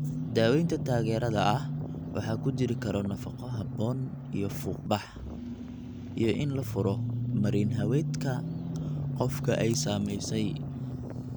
Daawaynta taageerada ah waxaa ku jiri kara nafaqo habboon iyo fuuq-bax, iyo in la furo marin-haweedka qofka ay saamaysay.